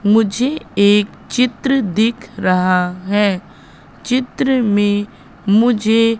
मुझे एक चित्र दिख रहा है चित्र में मुझे--